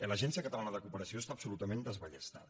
l’agència catalana de cooperació està absolutament desballestada